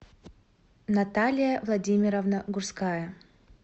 наталия владимировна гурская